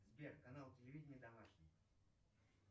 сбер канал телевидения домашний